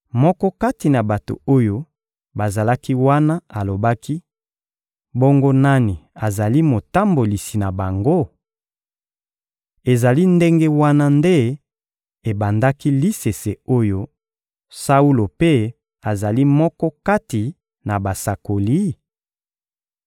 Moko kati na bato oyo bazalaki wana alobaki: «Bongo nani azali motambolisi na bango?» Ezali ndenge wana nde ebandaki lisese oyo: «Saulo mpe azali moko kati na basakoli?»